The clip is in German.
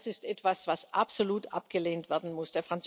Und das ist etwas, was absolut abgelehnt werden muss.